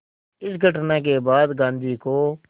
इस घटना के बाद गांधी को